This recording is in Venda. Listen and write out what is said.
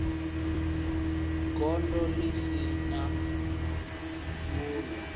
gondo ḽi si na vhuyo